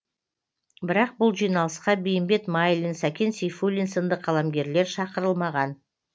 бірақ бұл жиналысқа бейімбет майлин сәкен сейфуллин сынды қаламгерлер шақырылмаған